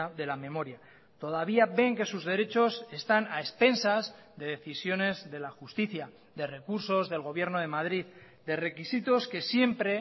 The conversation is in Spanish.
de la memoria todavía ven que sus derechos están a expensas de decisiones de la justicia de recursos del gobierno de madrid de requisitos que siempre